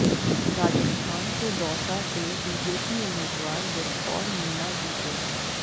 राजस्थान के दौसा से बीजेपी उम्मीदवार जसकौर मीणा जीते